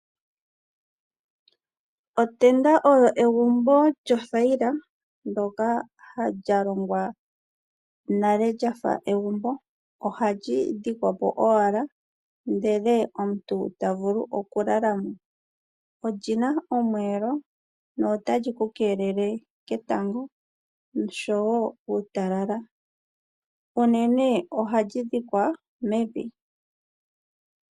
Otenda oyo egumbo lyothayila, ndyoka lya longwa nale lya fa egumbo. Ohali dhikwa po owala ndele omuntu ta vulu okulala mo. Oli na omweelo notali ku keelele ketango noshowo uutalala. Unene ohali dhikwa mevi.